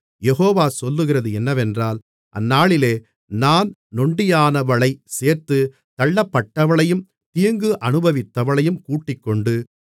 யெகோவா சொல்லுகிறது என்னவென்றால் அந்நாளிலே நான் நொண்டியானவளைச் சேர்த்து தள்ளப்பட்டவளையும் தீங்கு அனுபவித்தவளையும் கூட்டிக்கொண்டு